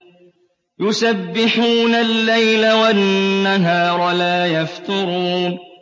يُسَبِّحُونَ اللَّيْلَ وَالنَّهَارَ لَا يَفْتُرُونَ